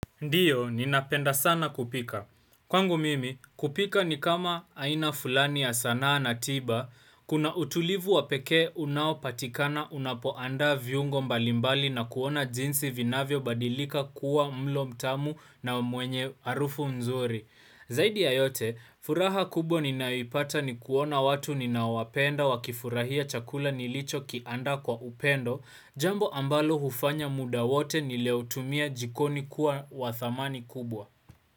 Ndiyo, ninapenda sana kupika. Kwangu mimi, kupika ni kama aina fulani ya sanaa na tiba, kuna utulivu wa pekee unaopatikana unapoandaa viungo mbalimbali na kuona jinsi vinavyobadilika kuwa mlo mtamu na mwenye harufu nzuri. Zaidi ya yote, furaha kubwa ninayoipata ni kuona watu ninaowapenda wakifurahia chakula nilichokiandaa kwa upendo, jambo ambalo hufanya muda wote nilioutumia jikoni kuwa wa thamani kubwa.